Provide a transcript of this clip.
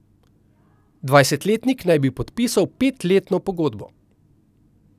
Dvajsetletnik naj bi podpisal petletno pogodbo.